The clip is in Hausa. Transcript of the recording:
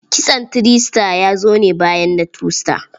Kitson three star ya zo ne bayan na two star.